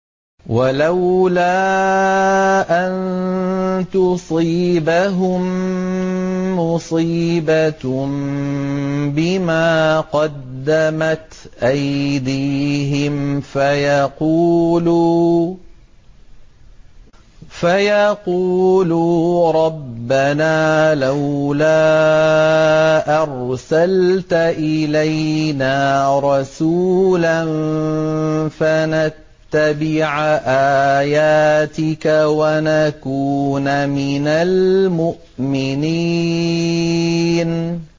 وَلَوْلَا أَن تُصِيبَهُم مُّصِيبَةٌ بِمَا قَدَّمَتْ أَيْدِيهِمْ فَيَقُولُوا رَبَّنَا لَوْلَا أَرْسَلْتَ إِلَيْنَا رَسُولًا فَنَتَّبِعَ آيَاتِكَ وَنَكُونَ مِنَ الْمُؤْمِنِينَ